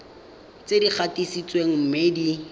tse di gatisitsweng mme di